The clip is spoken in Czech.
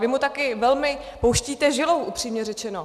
Vy mu také velmi pouštíte žilou, upřímně řečeno.